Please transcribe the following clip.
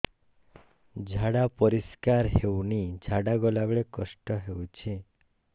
ଝାଡା ପରିସ୍କାର ହେଉନି ଝାଡ଼ା ଗଲା ବେଳେ କଷ୍ଟ ହେଉଚି